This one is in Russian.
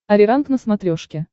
ариранг на смотрешке